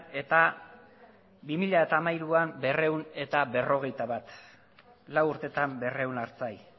eta bi mila hamairuan berrehun eta berrogeita bat lau urteetan berrehun artzain